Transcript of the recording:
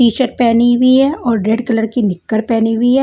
T shirt पहनी हुई है और रेड कलर की नेकर पहनी हुई है।